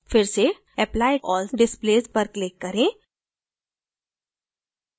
फिर से apply all displays पर click करें